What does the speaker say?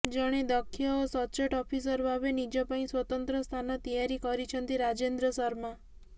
ଜଣେ ଦକ୍ଷ ଓ ସଚ୍ଚୋଟ ଅଫିସର ଭାବେ ନିଜ ପାଇଁ ସ୍ୱତନ୍ତ୍ର ସ୍ଥାନ ତିଆରି କରିଛନ୍ତି ରାଜେନ୍ଦ୍ର ଶର୍ମା